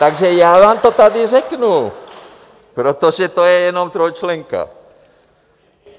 Takže já vám to tady řeknu, protože to je jenom trojčlenka.